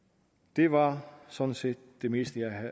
det var sådan set det meste